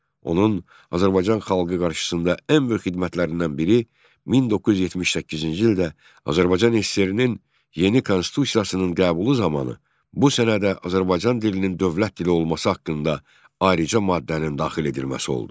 Onun Azərbaycan xalqı qarşısında ən böyük xidmətlərindən biri 1978-ci ildə Azərbaycan SSR-nin yeni konstitusiyasının qəbulu zamanı bu sənədə Azərbaycan dilinin dövlət dili olması haqqında ayrıca maddənin daxil edilməsi oldu.